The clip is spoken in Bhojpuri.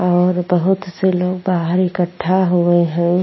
और बहुत से लोग बहार इकटा हुए हैं।